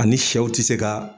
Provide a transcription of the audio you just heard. A ni sɛw ti se kaa